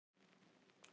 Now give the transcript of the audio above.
Neysluvatn í lagi